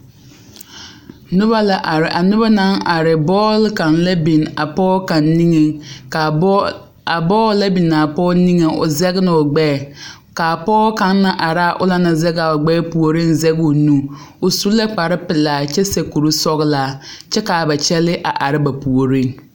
Noba la are a noba naŋ are bɔɔli kaŋ la biŋ a pɔge kaŋ nigeŋ ka a bɔɔl a bɔɔl naŋ biŋ a pɔge nigeŋ ne o zage la o gbɛɛ ka a pɔge kaŋ naŋ are la a o naŋ naŋ zage o gbɛɛ puoriŋ zage o nu o su la kparepelaa kyɛ seɛ kurisɔglaa kyɛ ka a ba kyɛlɛɛ are ba puoriŋ .